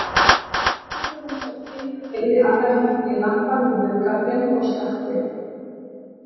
Settist á rúmstokkinn, teygði aðra höndina í lampann við höfðagaflinn og slökkti.